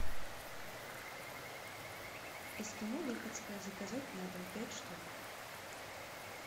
эскимо липецкое заказать на дом пять штук